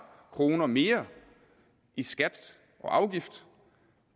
kroner mere i skat og afgift